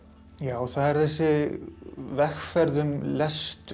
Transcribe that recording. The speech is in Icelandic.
það er þessi vegferð um lestur